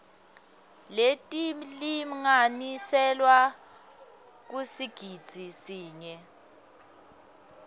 letilinganiselwa kusigidzi sinye